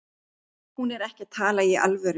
Hún er ekki að tala í alvöru.